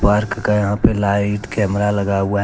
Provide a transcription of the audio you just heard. का यहां पे लाइट कैमरा लगा हुआ है।